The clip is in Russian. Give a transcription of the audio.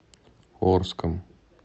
орском